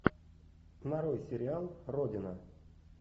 нарой сериал родина